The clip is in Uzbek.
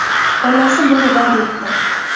Onasi buni rad etdi.